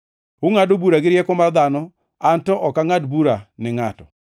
Ungʼado bura gi rieko mar dhano, an to ok angʼad bura ni ngʼato.